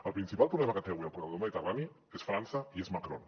el principal problema que té avui el corredor mediterrani és frança i és macron